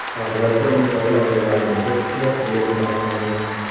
Oqibatda uning oila a’zolaridan to‘rt kishida virus aniqlangan.